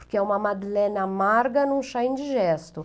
Porque é uma madeleine amarga num chá indigesto.